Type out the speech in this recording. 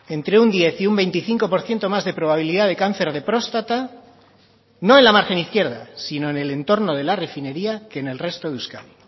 entre un diez y un veinticinco por ciento más de probabilidad de cáncer de próstata no en la margen izquierda sino en el entorno de la refinería que en el resto de euskadi